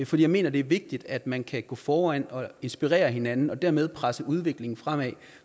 for jeg mener det er vigtigt at man kan gå foran og inspirere hinanden og dermed presse udviklingen fremad